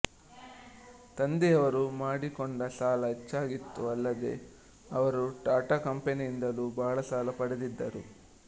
ತಂದೆಯವರು ಮಾಡಿಕೊಂಡ ಸಾಲ ಹೆಚ್ಚಾಗಿತ್ತು ಅಲ್ಲದೆ ಅವರು ಟಾಟಾ ಕಂಪೆನಿಯಿಂದಲೂ ಬಹಳ ಸಾಲ ಪಡೆದಿದ್ದರು